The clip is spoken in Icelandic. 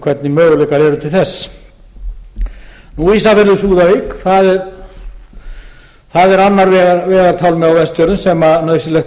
hvernig möguleikar eru til þess ísafjörður súðavík það er annar vegartálmi á vestfjörðum sem nauðsynlegt